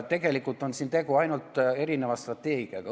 Tegelikult on tegu ainult erineva strateegiaga.